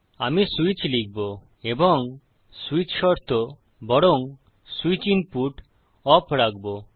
আমি সুইচ লিখবো এবং সুইচ শর্ত বরং সুইচ ইনপুট ওপ রাখবো